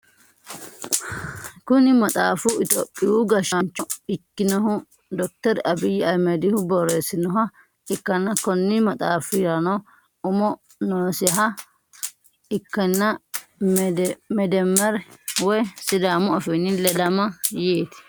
Kuni maxaaffu itiyophiyu gashshancho ikkinnohu Dokiter Abiy Ahimedihu borressinnoha ikkanna konni maxaaffirano umu noosiha ikkanna "meddemmer" woy sidaamu afinni ledama yeeti.